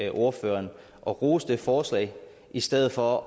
ordføreren at rose det forslag i stedet for